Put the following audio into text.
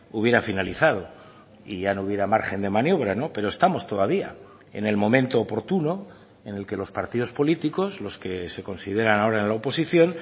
hubiera finalizado y ya no hubiera margen de maniobra pero estamos todavía en el momento oportuno en el que los partidos políticos los que se consideran ahora en la oposición